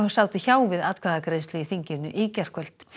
sátu hjá við atkvæðagreiðslu í þinginu í gærkvöld